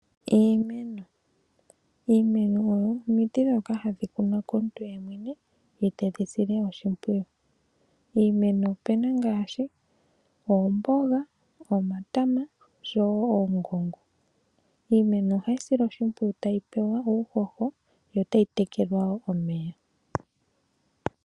Iimeno Iimeno oyo omiti ndhoka hadhi kunwa komuntu yemwene ye tedhi sile oshimpwiyu. Iimeno opu na ngaashi oomboga, omatama oshowo oongongo. Iimeno ohayi silwa oshimpwiyu tayi pewa uuhoho yo otayi tekelwa omeya.